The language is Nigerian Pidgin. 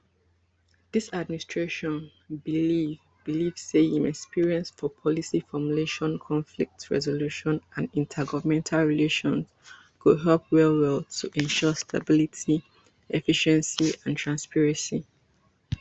dis administration believe believe say im experience for policy formulation conflict resolution and intergovernmental relations go help wellwell to ensure stability efficiency and transparency